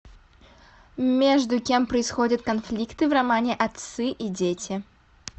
между кем происходят конфликты в романе отцы и дети